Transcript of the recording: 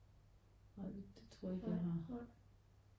Nej det tror jeg ikke jeg har